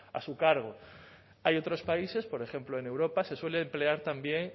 a su cargo hay otros países por ejemplo en europa se suele emplear también